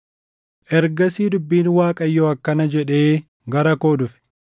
Ergasii dubbiin Waaqayyoo akkana jedhee gara koo dhufe: